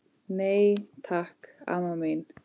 Nei, takk, amma mín.